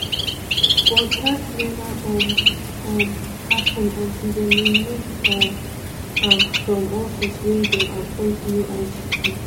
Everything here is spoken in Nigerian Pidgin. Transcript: but dat neva um um happun until dem remove um am from office wey dem appoint new igp.